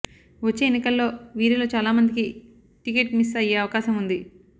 వచ్చే ఎన్నికల్లో వీరిలో చాలా మందికి టికెట్ మిస్ అయ్యే అవకాశం ఉంది